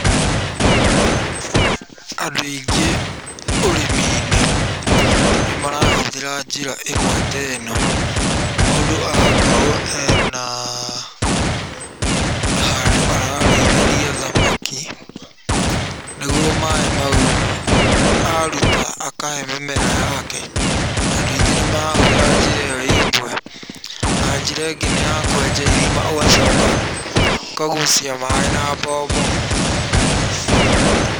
Andũ aingĩ ũrĩmi-inĩ nĩ marahũthĩra njĩra ĩmwe ta ĩno, mũndũ agakorwo ena handũ ararĩithiria thamaki, nĩguo maaĩ mau aruta akahe mĩmera yake. Andũ aingĩ nĩ marahũthĩra njĩra ĩyo ĩ ĩmwe, na njĩra ĩngĩ nĩ ya kwenja irima ũgacoka ũkagucia maaĩ na mbombo.